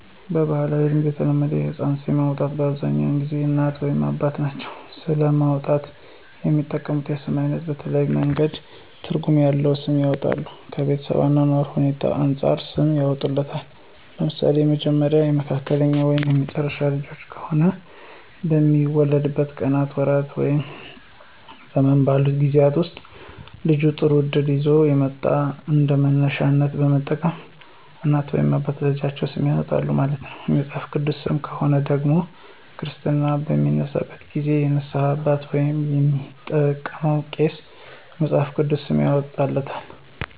በባህላዊ ልማድ ለተወለደው ህፃን ስም የሚያወጣው በአብዛኛውን ጊዜ እናት ወይም አባት ናቸው። ስም ለማውጣት የሚጠቀሙት የስም አይነት በተለያየ መንገድ ትርጉም ያለዉ ስም ያወጣሉ። ከቤተሰብ የአኗኗር ሁኔታዎች አንፃርም ሰም ያወጡለታል። ለምሳሌ የመጀመሪያ፣ የመካከለኛ ወይም የመጨረሻ ልጃቸው ከሆነ ልጁ በሚወለድበት ቀናት፣ ወራት ወይም ዘመን ባሉት ጊዜወች ወስጥ ልጁ ጥሩ እድል ይዞ የመጣውን እንደመነሻነት በመጠቀም እናት ወይም አባት ለልጃቸው ስም ያወጣሉ ማለት ነው። የመጽሐፍ ቅዱስ ሰም ከሆነ ደግሞ ክርስትና በሚነሳበት ጊዜ የንስሃ አባት ወይም የሚያጠምቀው ቄስ የመፅሐፍ ቅዱስ ስም ያወጣለታል።